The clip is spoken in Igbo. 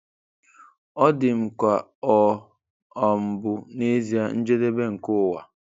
Ọ dị m ka ọ um bụ n'ezie njedebe nke ụwa.